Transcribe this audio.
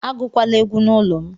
Agụkwala egwu n'ụlọ m